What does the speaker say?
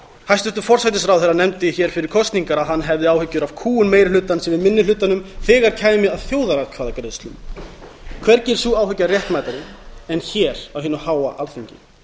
hæstvirtur forsætisráðherra nefndi hér fyrir kosningar að hann hefði áhyggjur af kúgun meiri hlutans yfir minni hlutanum þegar kæmi að þjóðaratkvæðagreiðslum hvergi er sú áhyggja réttmætari en hér á hinu háa alþingi